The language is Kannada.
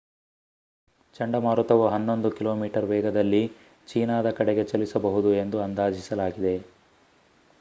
ಚಂಡಮಾರುತವು ಹನ್ನೊಂದು ಕಿಲೋಮೀಟರ್ ವೇಗದಲ್ಲಿ ಚೀನಾದ ಕಡೆಗೆ ಚಲಿಸಬಹುದು ಎಂದು ಅಂದಾಜಿಸಲಾಗಿದೆ